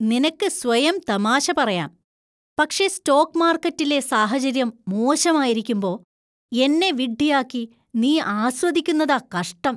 നിനക്ക് സ്വയം തമാശ പറയാം, പക്ഷേ സ്റ്റോക്ക് മാർക്കറ്റിലെ സാഹചര്യം മോശമായിരിക്കുമ്പോ എന്നെ വിഡ്ഢിയാക്കി നീ ആസ്വദിക്കുന്നതാ കഷ്ടം.